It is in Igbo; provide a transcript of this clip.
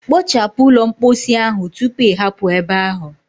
Kpochapu ụlọ mposi ahụ tupu ị hapụ ebe ahụ.